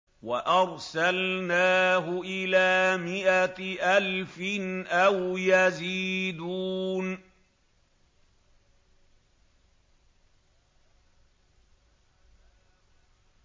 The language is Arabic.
وَأَرْسَلْنَاهُ إِلَىٰ مِائَةِ أَلْفٍ أَوْ يَزِيدُونَ